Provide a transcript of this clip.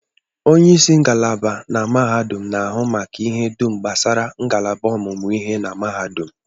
Onyeisi ngalaba na mahadum na-ahụ maka ihe dum gbasara ngalaba ọmụmụ ihe na mahadum